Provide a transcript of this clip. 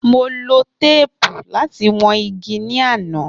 Mo lo teepu lati wọn igi ni ana